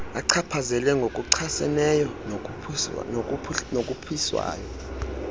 achaphazele ngokuchaseneyo nokhuphiswano